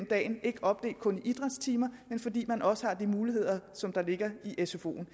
dagen ikke opdelt kun i idrætstimer fordi man også har de muligheder som der ligger i sfo’en